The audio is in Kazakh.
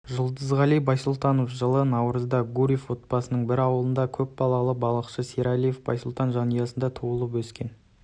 жұлдызғали байсултанов жылы наурызда гурьев облысының бір ауылында көп балалы балықшы сералиев байсултан жанұясында туылып өскен